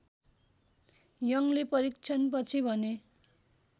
यङले परीक्षणपछि भने